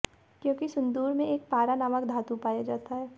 क्योंकि सिंदूर में एक पारा नामक धातु पाया जाता हैं